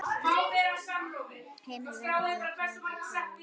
Heimir: Verður það í kvöld?